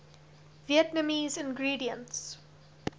vietnamese ingredients